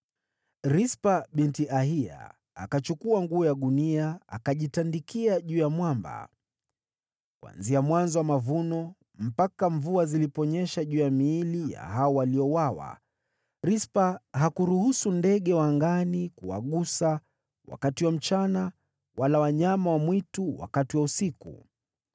Rispa binti Aiya akachukua nguo ya gunia, akajitandikia juu ya mwamba. Kuanzia mwanzo wa mavuno mpaka mvua ziliponyesha juu ya miili ya hao waliouawa, Rispa hakuruhusu ndege wa angani kuwagusa wakati wa mchana, wala wanyama wa mwitu wakati wa usiku.